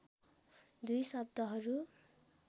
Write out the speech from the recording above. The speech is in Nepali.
दुई शब्दहरू